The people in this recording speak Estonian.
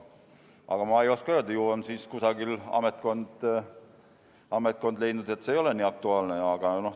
Aga ma ei oska öelda, ju on siis mingi ametkond leidnud, et see ei ole nii aktuaalne.